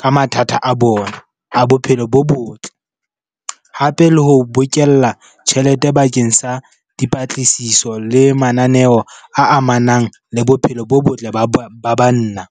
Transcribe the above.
ka mathata a bona a bophelo bo botle. Hape le ho bokella tjhelete bakeng sa dipatlisiso le mananeo a amanang le bophelo bo botle ba banna.